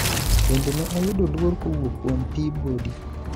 bende ne oyudo luor kowuok kuom Peabody,